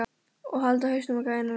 Og halda hausnum á gæjanum uppi!